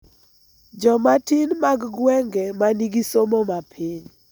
Jomatin mag gwenge, ma nigi somo ma piny,